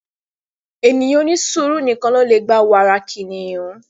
Ènìyàn onisuuru nìkàn lo le gbà wàrà kiniyun